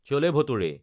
চলে ভাতুৰে